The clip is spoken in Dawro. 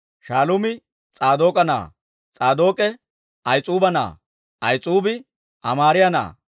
Shaaluumi S'aadook'a na'aa; S'aadook'e Ahis'uuba na'aa; Ahis'uubi Amaariyaa na'aa;